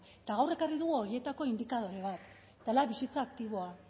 eta gaur ekarri dugu horietako indikadore bat dela bizitza aktiboa